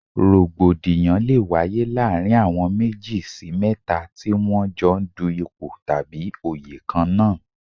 Rògbòdìyàn lé wáyé láàárín àwọn méjì sí mẹ́ta tí wọ́n ń jọ dù ipò tàbí òyè kan náà.